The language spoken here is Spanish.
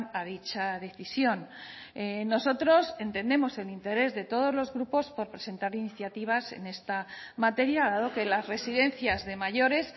a dicha decisión nosotros entendemos el interés de todos los grupos por presentar iniciativas en esta materia dado que las residencias de mayores